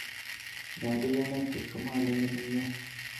Nyalu kenet kipsomaninik komnye.